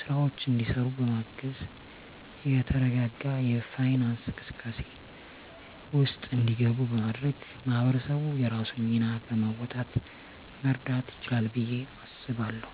ስራወች እንዲሰሩ በማገዝ የተረጋጋ የፋይናንስ እንቅስቃሴ ውስጥ እንዲገቡ በማድረግ ማህበረሰቡ የራሱን ሚና በመወጣት መርዳት ይችላል ብየ አስባለሁ።